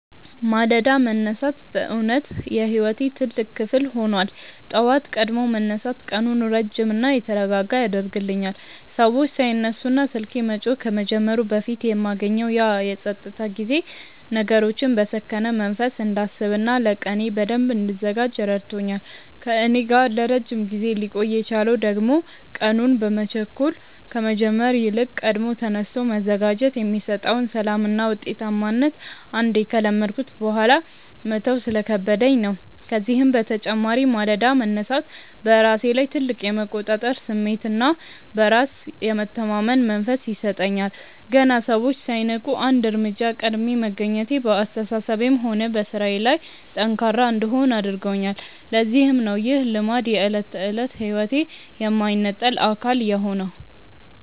ማለዳ መነሳት በእውነት የሕይወቴ ትልቅ ክፍል ሆኗል። ጠዋት ቀድሞ መነሳት ቀኑን ረጅምና የተረጋጋ ያደርግልኛል፤ ሰዎች ሳይነሱና ስልኬ መጮህ ከመጀመሩ በፊት የማገኘው ያ የፀጥታ ጊዜ ነገሮችን በሰከነ መንፈስ እንዳስብና ለቀኔ በደንብ እንድዘጋጅ ረድቶኛል። ከእኔ ጋር ለረጅም ጊዜ ሊቆይ የቻለው ደግሞ ቀኑን በመቸኮል ከመጀመር ይልቅ ቀድሞ ተነስቶ መዘጋጀት የሚሰጠውን ሰላምና ውጤታማነት አንዴ ከለመድኩት በኋላ መተው ስለከበደኝ ነው። ከዚህም በተጨማሪ ማለዳ መነሳት በራሴ ላይ ትልቅ የመቆጣጠር ስሜትና በራስ የመተማመን መንፈስ ይሰጠኛል። ገና ሰዎች ሳይነቁ አንድ እርምጃ ቀድሜ መገኘቴ በአስተሳሰቤም ሆነ በሥራዬ ላይ ጠንካራ እንድሆን አድርጎኛል፤ ለዚህም ነው ይህ ልማድ የዕለት ተዕለት ሕይወቴ የማይነጠል አካል የሆነው።